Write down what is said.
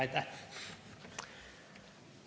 Aitäh!